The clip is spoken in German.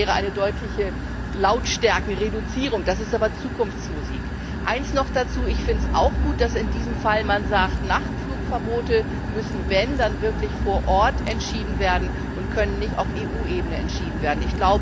Das wäre eine deutliche Lautstärkenreduzierung. Das ist aber Zukunftsmusik. Eines noch dazu Ich finde es auch gut, dass man in diesem Fall auch sagt, eventuelle Nachtflugverbote müssen wirklich vor Ort entschieden werden und dürfen nicht auf EU Ebene entschieden